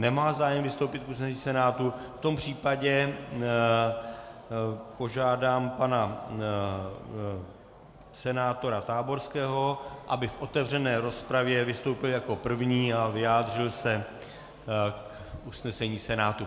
Nemá zájem vystoupit k usnesení Senátu, v tom případě požádám pana senátora Táborského, aby v otevřené rozpravě vystoupil jako první a vyjádřil se k usnesení Senátu.